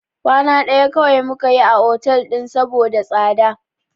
Kwana ɗaya kawai muka yi a hotel ɗin saboda tsada.